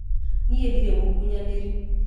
Niĩ ndirĩ mũkunyanĩri